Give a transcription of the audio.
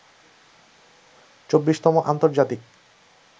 ২৪তম আন্তর্জাতিক